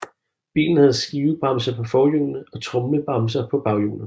Bilen havde skivebremser på forhjulene og tromlebremser på baghjulene